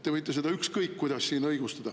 Te võite seda ükskõik kuidas siin õigustada.